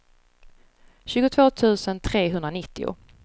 tjugotvå tusen trehundranittio